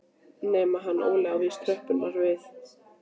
Nema hann Óli á víst tröppurnar við